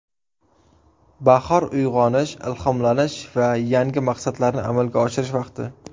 Bahor uyg‘onish, ilhomlanish va yangi maqsadlarni amalga oshirish vaqti!